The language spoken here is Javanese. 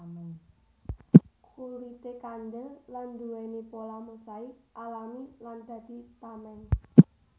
Kulité kandel lan nduwèni pola mosaik alami lan dadi tameng